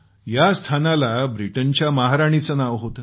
या स्थानाला ब्रिटनच्या महाराणीचं नाव होतं